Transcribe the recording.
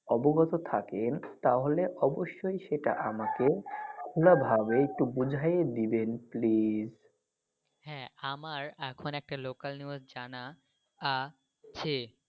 অবগত থাকেন তাহলে অবশ্যই সেটা আমাকে খোলা ভাবে একটু বোঝাই দিবেন please. হ্যাঁ আমার এখন একটা local news জানা আছে.